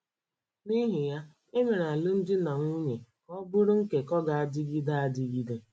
N’ihi ya, e mere alụmdi na nwunye ka ọ bụrụ nkekọ ga - adịgide adịgide.